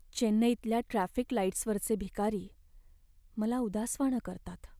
चेन्नईतल्या ट्रॅफिक लाईट्सवरचे भिकारी मला उदासवाणं करतात.